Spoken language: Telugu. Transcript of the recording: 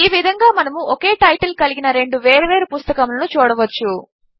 ఈ విధంగా మనము ఒకే టైటిల్ కలిగిన రెండు వేరువేరు పుస్తకములను చూడవచ్చు